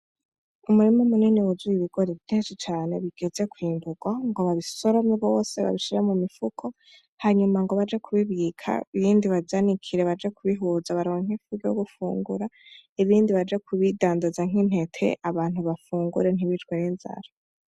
Umurima munini w'uzuye ibigori vyinshi cane bigeze kw'imbuka babisorome vyose babishira mu mifuko, hanyuma ngo baje kubibika ibindi bavyanikire baje kubihuza baronke ivyo gufungura, ibindi baje kubidandaza nk'intete abantu bafungure ntibicwe n'inzara.